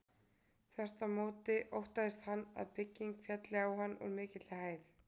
Þvert á móti óttaðist hann að bygging félli á hann úr mikilli hæð.